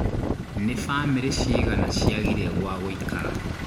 Nĩ bamĩrĩ cigana ciagire gwa gũikara?